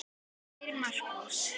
Kæri Markús.